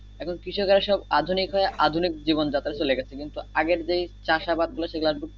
এখন কৃষকেরা সব আধুনিক হয়ে আধুনিক জীবন যাত্রায় চলে গেছে কিন্তু আগের যে চাষাবাদ গুলা সে গুলা আর করতেছে না